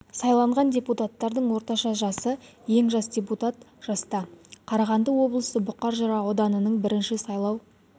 сайланған депутаттардың орташа жасы жас ең жас депутат жаста қарағанды облысы бұқар жырау ауданының бірінші сайлау